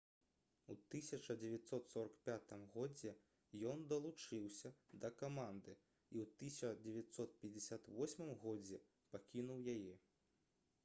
у 1945 годзе ён далучыўся да каманды і ў 1958 годзе пакінуў яе